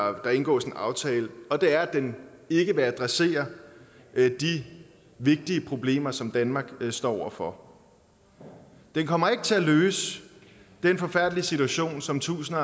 om der indgås en aftale og det er at den ikke vil adressere de vigtige problemer som danmark står over for den kommer ikke til at løse den forfærdelige situation som tusinde